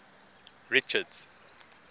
richards